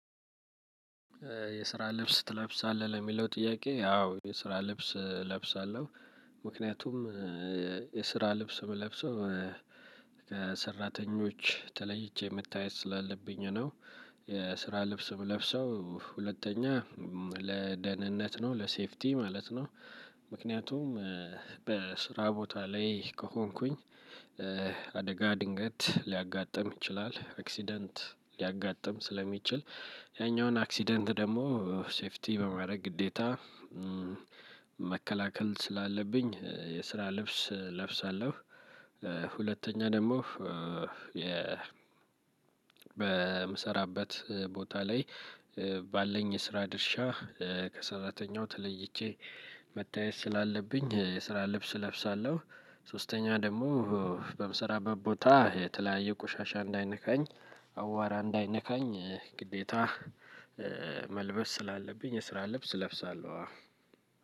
የስራ ልብስ ትለብሳለህ ለሚለው ጥያቄ? አዎ የስራ ልብስ እለብሳለሁ። ምክንያቱም የስራ ልብስ ምለብሰው ከሰራተኞች ተለይቼ መታየት ስላለብኝ ነው። የስራ ልብስ የምለብሰው ሁለተኛ ለደህንነት ነው ለሴፍቲ ማለት ነው። ምክንያቱም በስራ ቦታ ላይ ከሆንኩኝ። አደጋ ድንገት ሊያጋጥም ይችላል አክሲደንት ሊያጋጥም ስለሚችል ያኛውን አክሲደንት ደግሞ ሴፍቲ በማድረግ ግዴታ መከላከል ስላለብኝ የስራ ልብስ እለብሳለሁ። ሁለተኛ ደግሞ የ በምሰራበት ቦታ ላይ ባለኝ የስራ ድርሻ ከሰራተኛው ተለይቼ መታየት ስላለብኝ የስራ ልብስ እለብሳለሁ። ሶስተኛ ደግሞ በምሰራበት ቦታ የተለያየ ቆሻሻ እንዳይነካኝ አዋራ እንዳይነካኝ ግዴታ መልበስ ስላለብኝ የስራ ልብስ እለብሳለሁ።